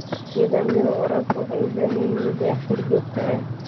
Nidaamyada waraabka waxay u baahan yihiin dayactir joogto ah.